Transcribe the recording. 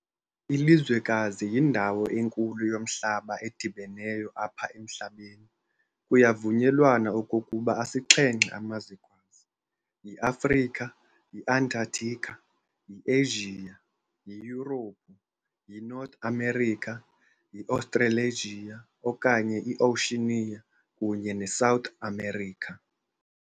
Ilizwekazi yindawo enkulu yomhlaba edibeneyo apha emhlabeni. Kuyavunyelwana okokuba asixhenxe amazwekazi- yi-Africa, yi-Antarctica, yi-Asia, yiYurophu, yiNorth America, yi-Australasia okanye i-Oceania, kunye neSouth America.